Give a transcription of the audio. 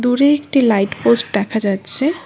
উপরে একটি light post দেখা যাচ্ছে।